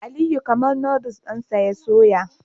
Aliyu kamar Noddles dinsa ya soya